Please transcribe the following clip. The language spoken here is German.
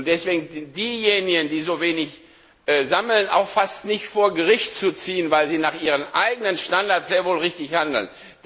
Deswegen sind diejenigen, die so wenig sammeln, auch fast nicht vor Gericht zu ziehen, weil sie nach ihrem eigenen Standard sehr wohl richtig handeln.